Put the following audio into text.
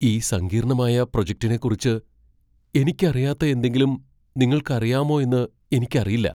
ഈ സങ്കീർണ്ണമായ പ്രൊജക്റ്റിനെക്കുറിച്ച് എനിക്കറിയാത്ത എന്തെങ്കിലും നിങ്ങൾക്കറിയാമോ എന്ന് എനിക്കറിയില്ല.